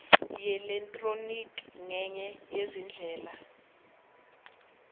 yeelektroniki ngenye yezindlela